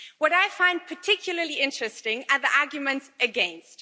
What I find particularly interesting are the arguments against.